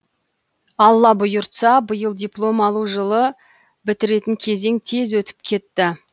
алла бұйыртса биыл диплом алу жылы бітіретін кезең тез өтіп кетті